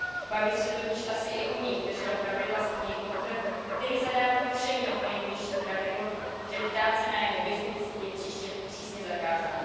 Babiš se totiž asi i u nich držel pravidla z knihy Kmotr, které zadávalo všem jeho nejbližším pravidlo, že ptát se na jeho byznys je přísně zakázáno.